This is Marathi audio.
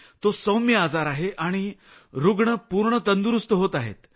तो सौम्य आजार आहे आणि रूग्ण पूर्ण तंदुरूस्त होत आहेत सर